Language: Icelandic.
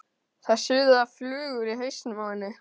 Það suða flugur í hausnum á henni.